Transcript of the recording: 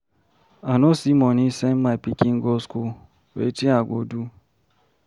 I no see money send my pikin go school. Wetin I go do?